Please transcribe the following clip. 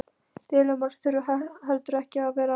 Deilumál þurfa heldur ekki að vera af hinu illa.